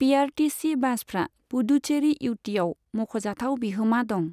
PRTC बासफ्रा पुडुचेरी इउटिआव मख'जाथाव बिहोमा दं।